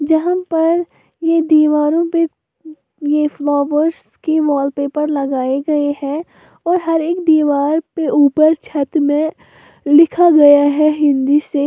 जहां पर ये दीवारो पे ये फ्लावर्स के वॉलपेपर लगाए गए है और हर एक दीवार पे ऊपर छत मे लिखा गया है हिंदी से --